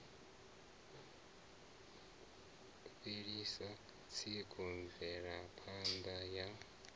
fhelisa tsiku mvelapha ṋda ya